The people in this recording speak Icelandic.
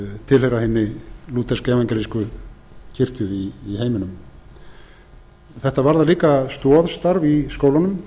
tilheyra hinni lútersku evangelísku kirkju í heiminum þetta varðar líka stoðstarf í skólunum